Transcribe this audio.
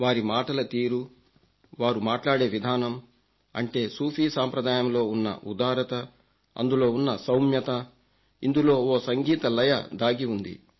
వారి మాటల తీరు వారు మాట్లాడే విధానం అంటే సూఫీ సాంప్రదాయంలో ఉన్న ఉదారత అందులో ఉన్న సౌమ్యత ఇందులో ఓ సంగీత లయ దాగి ఉంది